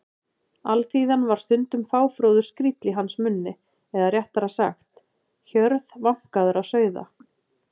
Alþýðan var stundum fáfróður skríll í hans munni eða réttara sagt: hjörð vankaðra sauða.